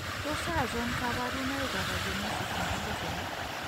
Tos achon kabarunaik ab Agenesis nebo dorsal ?